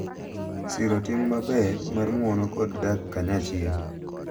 Siro tim maber mar ng’uono kod dak kanyachiel.